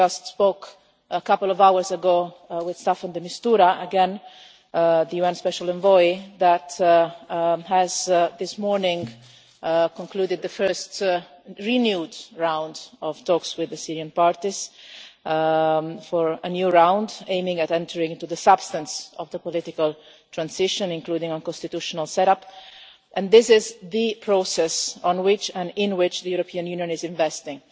I spoke just a couple of hours ago with Staffan de Mistura again, the UN Special Envoy, who has this morning concluded the first renewed round of talks with the Syrian parties, for a new round aiming at entering into the substance of the political transition, including on constitutional setup. This is the process on which and in which the European Union is investing,